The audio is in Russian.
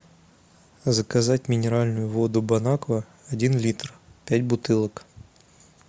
заказать минеральную воду бон аква один литр пять бутылок